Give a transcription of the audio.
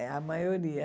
É, a maioria.